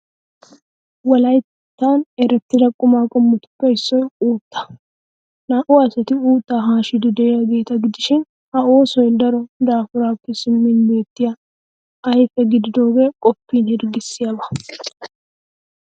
Wolayttan erettida qumaa qommotuppe issoy uuttaa. Naa''u asati uuttaa haashiiddi de'iyaageeta gidishin, ha oosoy daro daafuraappe simmin beettiya ayfee gidiyoogee qoppin hirggissiyaaba.